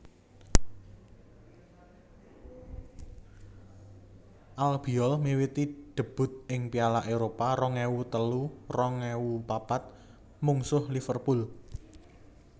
Albiol miwiti debut ing Piala Eropa rong ewu telu rong ewu papat mungsuh Liverpool